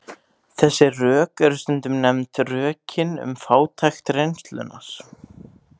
Þessi rök eru stundum nefnd rökin um fátækt reynslunnar.